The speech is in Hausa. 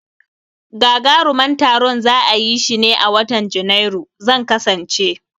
Gagaruman taron za'a yishi ne a watan Janairu, zan kasance